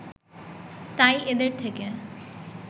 তাই এদের থেকে